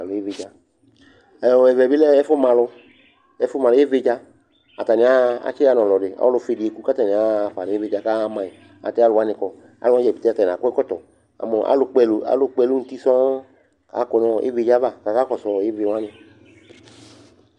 Ɛ ɔ ɛvɛ bɩ lɛ ɛfʋma alʋ, ɛfʋma alʋ, ɩvɩ dza kʋ atanɩ aɣa, atsɩɣa nʋ ɔlɔdɩ Ɔlʋfue dɩ eku kʋ atanɩ aɣa fa nʋ ɩvɩ dza kaɣa ma yɩ ayɛlʋtɛ alʋ wanɩ kɔ kʋ alʋ wanɩ dza pete atanɩ akɔ ɛkɔtɔ Amʋ alʋkpɔ ɛlʋ, alʋkpɔ ɛlʋ nʋ uti sɔŋ kʋ akɔ nʋ ɩvɩ dza yɛ ava kʋ akakɔsʋ ɩvɩ wanɩ